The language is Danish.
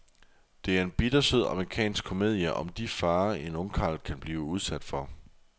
Det er en bittersød amerikansk komedie om de farer, en ungkarl kan blive udsat for.